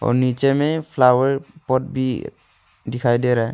और नीचे में फ्लावर पॉट भी दिखाई दे रहा है।